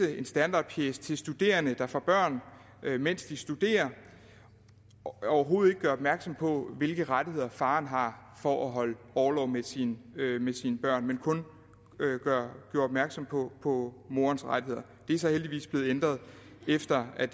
en standardpjece til studerende der får børn mens de studerer overhovedet ikke gør opmærksom på hvilke rettigheder faren har for at holde orlov med sit barn men kun gør opmærksom på på morens rettigheder det er så heldigvis blevet ændret efter at